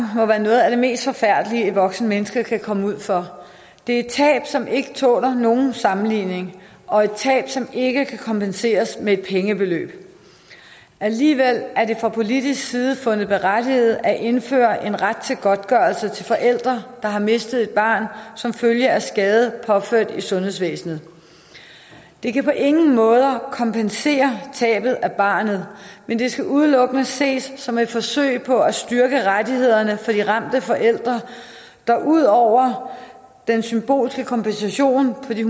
må være noget af det mest forfærdelige et voksent menneske kan komme ud for det er et tab som ikke tåler nogen sammenligning og et tab som ikke kan kompenseres med et pengebeløb alligevel er det fra politisk side fundet berettiget at indføre en ret til godtgørelse til forældre der har mistet et barn som følge af skade påført i sundhedsvæsenet det kan på ingen måder kompensere tabet af barnet men skal udelukkende ses som et forsøg på at styrke rettighederne for de ramte forældre der ud over den symbolske kompensation på de